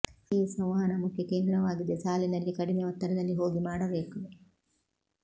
ಈ ಸಂವಹನ ಮುಖ್ಯ ಕೇಂದ್ರವಾಗಿದೆ ಸಾಲಿನಲ್ಲಿ ಕಡಿಮೆ ಒತ್ತಡದಲ್ಲಿ ಹೋಗಿ ಮಾಡಬೇಕು